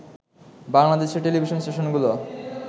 বাংলাদেশের টেলিভিশন স্টেশনগুলো